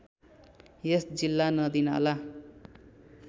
यस जिल्ला नदीनाला